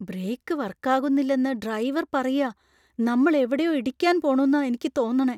Brake വര്‍ക്കാകുന്നില്ലെന്ന് driver പറയാ. നമ്മൾ എവിടെയോ ഇടിക്കാൻ പോണുന്നാ എനിക്ക് തോന്നണേ.